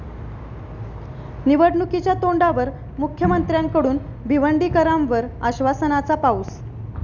निवडणुकीच्या तोंडावर मुख्यमंत्र्यांकडून भिवंडीकरांवर आश्वासनाचा पाऊस